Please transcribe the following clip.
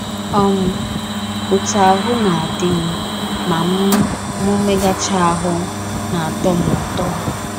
um “ Ọtụ ahụ́ na - adị m ma m megachaa ahụ́ na - atọ m ụtọ.